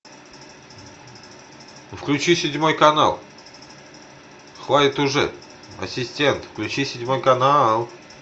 включи седьмой канал хватит уже ассистент включи седьмой канал